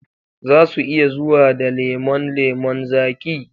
Zasu iya zuwa da lemon lemon zaki